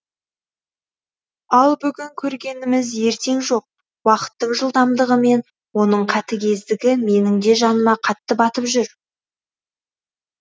ал бүгін көргеніміз ертең жоқ уақыттың жылдамдығымен оның қатігездігі менің де жаныма қатты баттып жүр